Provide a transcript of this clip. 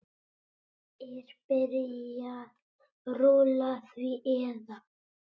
Er byrjað rúlla því eða?